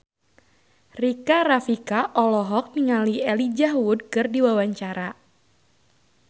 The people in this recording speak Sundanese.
Rika Rafika olohok ningali Elijah Wood keur diwawancara